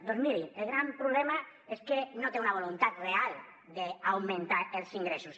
doncs mirin el gran problema és que no té una voluntat real d’augmentar els ingressos